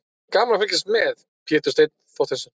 Gaman að fylgjast með: Pétur Steinn Þorsteinsson.